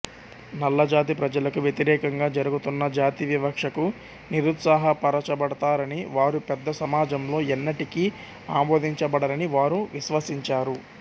నల్లజాతి ప్రజలకు వ్యతిరేకంగా జరుగుతున్న జాతి వివక్షకు నిరుత్సాహపరచబడతారని వారు పెద్ద సమాజంలో ఎన్నటికీ ఆమోదించబడరని వారు విశ్వసించారు